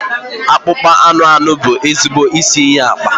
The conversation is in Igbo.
Akpụkpọ anụ anụ bụ ezigbo isi iyi akpa.